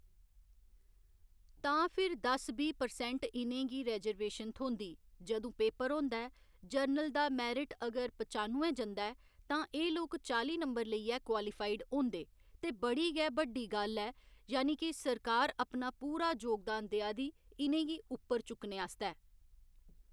तां फिर दस बीह् परसैंट इ'नेंगी रैजरवेशन थ्होंदी जंदू पेपर होंदा ऐ जर्नल दा मैरट अगर पचानुए जंदा ऐ तां एह् लोक चाली नंबर लेइयै क्वालीफइड होंदे ते बड़ी गै बड्डी गल्ल ऐ यानी कि सरकार अपना पूरा जोगदान देआ दी इ'नेंगी उप्पर चुकने आस्तै